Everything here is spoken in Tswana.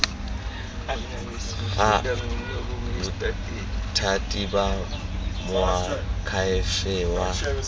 ga bothati ba moakhaefe wa